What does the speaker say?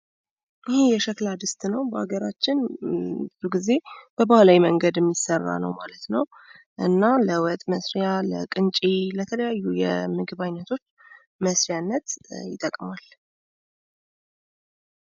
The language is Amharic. ይህ የሸክላ ድስት ነው ማለት ነው። በሀገራችን በባህልዊ መንገድ የሚሰራ እና ለወጥ መስሪያ፣ ለቅንጨ እና ለተለያዩ የምግብ አይነቶች መስሪያነት ይጠቅማል።